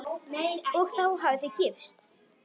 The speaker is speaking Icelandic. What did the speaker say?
Og þá hafið þið gifst?